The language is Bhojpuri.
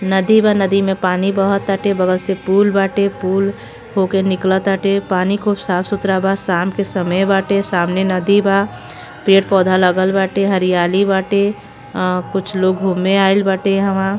नदी बा नदी में पानी बह तटे बगल से पुल बाटे पुल होक निकले ताटे पानी खूब साफ़ सुतरा बा साम के समय बाटे सामने नदी बा। पेड़ पोधा लगल बाटे हरियाली बाटे। आ कुछ लोग घुमें आइल बटे यहा। वह --